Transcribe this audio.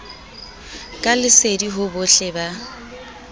ka lesedi ho bohle ba